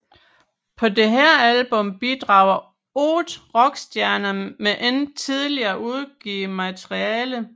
På dette album bidrager 8 rockstjerner med ikke tidligere udgivet materiale